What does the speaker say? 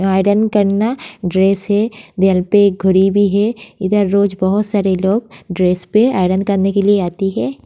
Iron करना dress है। दिवाल पे एक घड़ी भी है। इधर रोज बहोत सारे लोग ड्रेस पे आयरन करने के लिए आते हैं।